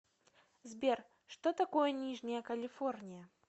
сбер что такое нижняя калифорния